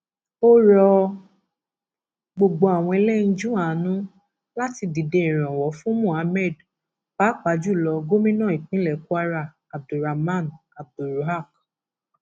ó rọ gbogbo àwọn ẹlẹyinjú àánú láti dìde ìrànwọ fún muhammed pàápàá jù lọ gómìnà ìpínlẹ kwara abdul raman abdulruaq